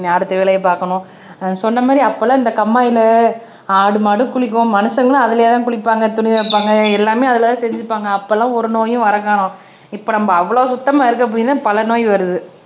அடுத்த வேலையை பார்க்கணும் சொன்ன மாதிரி அப்பெல்லாம் இந்த கம்மாயில ஆடு மாடு குளிக்கும் மனுஷங்களும் அதிலேயே தான் குளிப்பாங்க துணி துவைப்பாங்க எல்லாமே அதுலயேதான் செஞ்சிப்பாங்க அப்போ எல்லாம் ஒரு நோயும் வர காணம் இப்போ நம்ம அவ்வளவு சுத்தமா இருக்க போய் தான் பல நோய் வருது